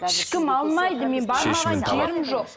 ешкім алмайды менің бармаған жерім жоқ